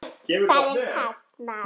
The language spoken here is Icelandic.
Það er kalt mat.